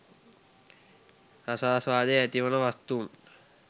රසාස්වාදය ඇතිවන වස්තූන්